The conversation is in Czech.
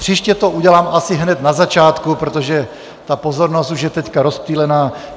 Příště to udělám asi hned na začátku, protože ta pozornost už je teď rozptýlená.